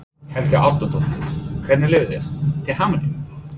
Helga Arnardóttir: Hvernig líður þér, til hamingju?